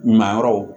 Ɲuman yɔrɔ